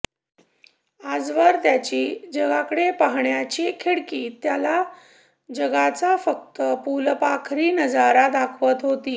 आजवर त्याची जगाकडे पाहण्याची खिडकी त्याला जगाचा फक्त फुलपाखरी नजारा दाखवत होती